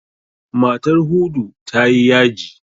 Matar Hudu ta yi yaji.